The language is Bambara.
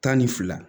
Tan ni fila